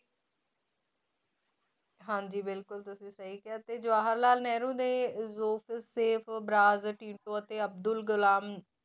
ਹਾਂਜੀ ਬਿਲਕੁਲ ਤੁਸੀਂ ਸਹੀ ਕਿਹਾ ਤੇ ਜਵਾਹਰ ਲਾਲ ਨਹਿਰੂ ਨੇ ਬਰਾਜ ਟੀਟੋ ਅਤੇ ਅਬਦੁਲ ਗੁਲਾਮ